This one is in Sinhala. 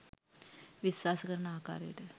විශ්වාස කරන ආකාරයට